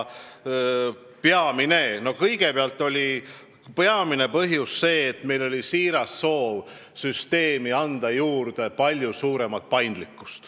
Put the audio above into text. Eelkõige me lähtusime siirast soovist muuta süsteem paindlikumaks.